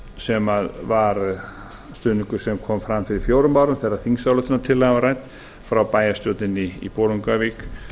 sem var stuðningur sem kom fram fyrir fjórum árum þegar þingsályktunartillagan var rædd frá bæjarstjórninni í bolungarvík